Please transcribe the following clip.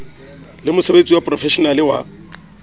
le mosebetsi wa profeshenale wa